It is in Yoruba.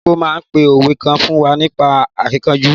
Ìya arúgbó náà pa òwe kan fún wa nípa akíkanjú.